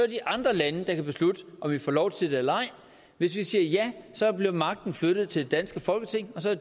de andre lande beslutte om vi får lov til det eller ej hvis vi siger ja bliver magten flyttet til det danske folketing og så er